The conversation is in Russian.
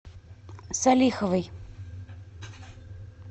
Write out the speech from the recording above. салиховой